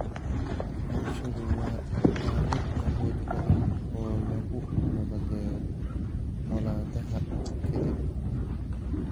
Waxbarashadu waa aalad awood badan oo lagu nabadeeyo colaadaha ka dib.